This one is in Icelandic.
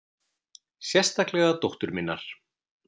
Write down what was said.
Sérstaklega dóttur minnar.